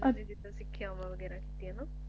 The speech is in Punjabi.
ਸਿੱਖਿਆਵਾਂ ਵਗੈਰਾ ਕੀਤੀਆਂ ਨੂੰ